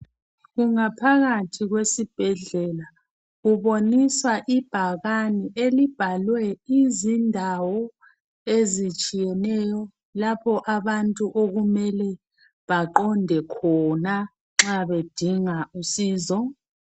Kungaphakathi kwesibhedlela kubonisa ibhakane elibhalwe izindawo ezitshiyeneyo lapho abantu okumele baqonde khona .Nxa bedinga usizo.